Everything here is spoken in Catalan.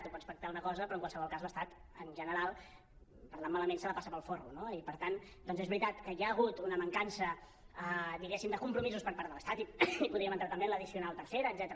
tu pots pactar una cosa però en qualsevol cas l’estat en general parlant malament s’ho passar pel forro no i per tant doncs és veritat que hi ha hagut una mancança diguéssim de compromisos per part de l’estat i podríem entrar també en l’addicional tercera etcètera